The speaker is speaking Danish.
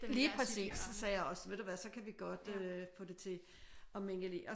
Lige præcis. Så sagde jeg også ved du hvad så kan vi godt øh få det til at mingelere